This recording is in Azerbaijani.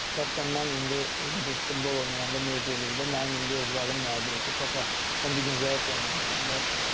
Şəxsən mən indi futbol oynayanda Medeliqdə mənim indi övladım mənə deyir ki, papa, sən bu gün zəif oynamısan da.